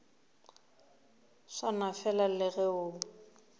swana fela le ge o